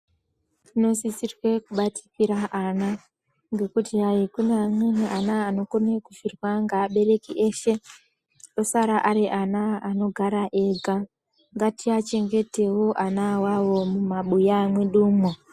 Tinosisirwa kubatikira ana ngekuti hai kune amweni ana anokona kufirwa ngeabereki ese osara ari ana anofara ega ngatiachengetewo ana awawo mumabuya mwedumwo